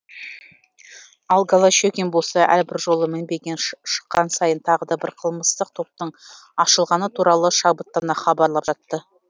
ал голощекин болса әрбір жолы мінбеге шыққан сайын тағы да бір қылмыстық топтың ашылғаны туралы шабыттана хабарлап жатты